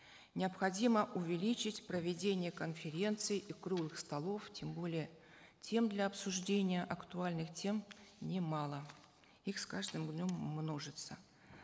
необходимо увеличить проведение конференций и круглых столов тем более тем для обсуждения актуальных тем немало их с каждым днем множится